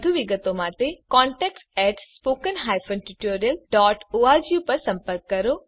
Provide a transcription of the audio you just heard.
વધુ વિગતો માટે contactspoken tutorialorg પર સંપર્ક કરો